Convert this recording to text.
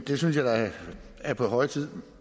det synes jeg da er på høje tid